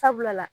Sabula la